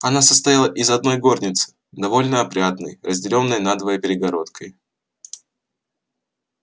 она состояла из одной горницы довольно опрятной разделённой надвое перегородкой